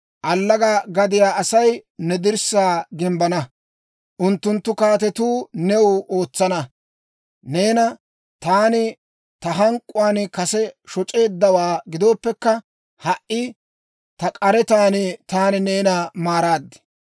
«Allaga gadiyaa Asay ne dirssaa gimbbana; unttunttu kaatetuu new ootsana. Neena taani ta hank'k'uwaan kase shoc'eeddawaa gidooppekka, ha"i ta k'aretan taani neena maaraad.